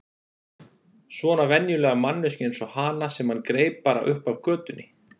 Svona venjulega manneskju eins og hana sem hann greip bara upp af götunni.